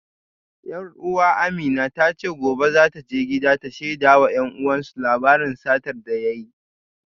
Yar uwa Amina ta ce gobe za ta je gida ta shaida wa 'yan uwansu labarin satar da ya yi